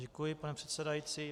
Děkuji, pane předsedající.